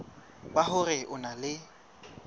ba hore o na le